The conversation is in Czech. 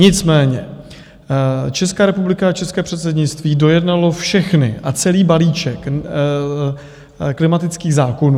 Nicméně Česká republika a české předsednictví dojednalo všechny a celý balíček klimatických zákonů.